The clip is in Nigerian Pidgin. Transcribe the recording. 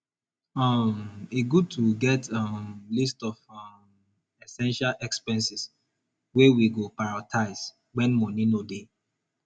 um e good to get um list of um essential expenses wey we go prioritize wen money no dey